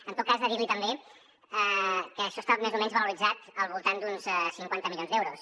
en tot cas dir li també que això està més o menys valoritzat al voltant d’uns cinquanta milions d’euros